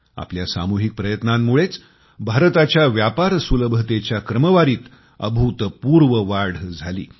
आपल्या सामुहिक प्रयत्नांमुळेच भारताच्या व्यापार सुलभतेच्या क्रमवारीत अभूतपूर्व वाढ झाली